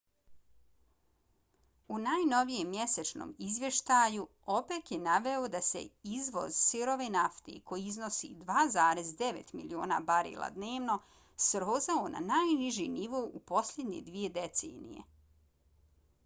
u najnovijem mjesečnom izvještaju opec je naveo da se izvoz sirove nafte koji iznosi 2,9 miliona barela dnevno srozao na najniži nivo u posljednje dvije decenije